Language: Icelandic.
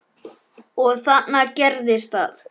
Og þarna gerðist það.